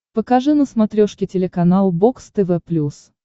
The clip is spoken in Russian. покажи на смотрешке телеканал бокс тв плюс